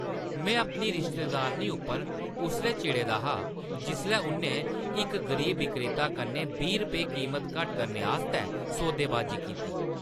मैं अपनी रिश्तेदारनी उप्पर उसलै चिड़े दा हा जिसलै उʼन्नै इक गरीब विक्रेता कन्नै बीह् रपेऽ कीमत घट्ट करने आस्तै सौदेबाजी कीती।